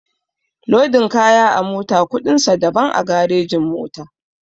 Lodin kaya a mota kuɗin sa daban a garejin-mota.